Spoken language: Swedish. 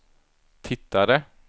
tittade